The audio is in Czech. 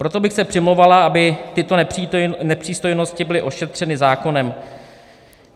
Proto bych se přimlouvala, aby tyto nepřístojnosti byly ošetřeny zákonem.